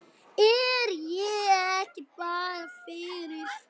Er ég ekki bara fyrir?